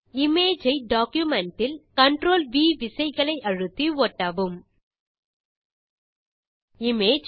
image ஐ document இல் CTRL V விசைகளை அழுத்தி ஒட்டவும் இமேஜ்